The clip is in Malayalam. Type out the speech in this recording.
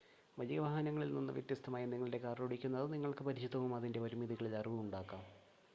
വലിയ വാഹനങ്ങളിൽ നിന്ന് വ്യത്യസ്തമായി നിങ്ങളുടെ കാർ ഓടിക്കുന്നത് നിങ്ങൾക്ക് പരിചിതവും അതിൻ്റെ പരിമിതികളിൽ അറിവും ഉണ്ടാകാം